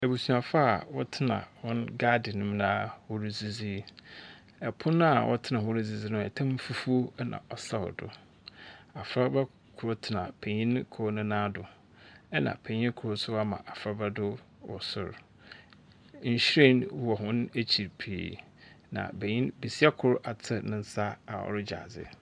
Abusuafoɔ a wɔtena hɔn garden mu na wɔredzidzi. Pon a wɔtena ho redzidzi no, tam fufuo na ɔsɛw do. Abofraba kor tsena penyin kor ne nan do, ɛna penyin kor nso ama abofraba do wɔ sor. Nhwiren wɔ hɔn ekyir pii, na benyin besia kor atse ne nsa do a ɔregye adze.